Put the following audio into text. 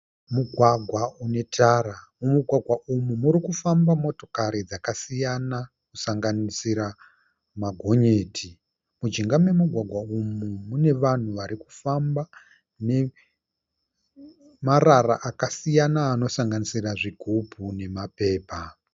Mugwagwa une tara. Mumugwagwa umu muri kufamba motokari dzakasiyana kusanganisira magonyeti. Mujinga memugwagwa umu mune vanhu varikufamba nemarara akasiyana anosanganisira zvigubhu nemapepa.